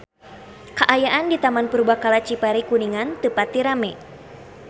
Kaayaan di Taman Purbakala Cipari Kuningan teu pati rame